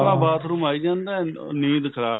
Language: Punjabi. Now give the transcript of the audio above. ਆਪਣਾ bathroom ਆਈ ਜਾਂਦਾ ਨੀਂਦ ਖ਼ਰਾਬ